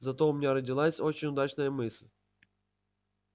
зато у меня родилась очень удачная мысль